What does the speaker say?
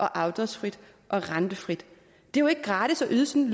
og afdragsfrit og rentefrit det er jo ikke gratis at yde sådan